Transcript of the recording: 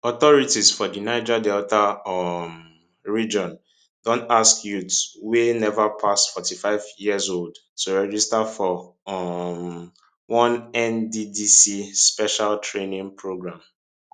authorities for di niger delta um region don ask youth wey neva pass 45 years old to register for um one nddc special training programme